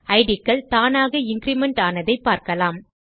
idகள் தானாக இன்கிரிமெண்ட் ஆனதை பார்க்கலாம்